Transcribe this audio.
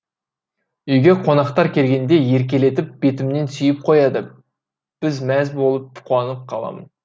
үйге қонақтар келгенде еркелетіп бетімнен сүйіп қояды біз мәз болып қуанып қаламын